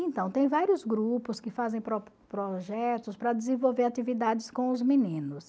Então, tem vários grupos que fazem pro projetos para desenvolver atividades com os meninos.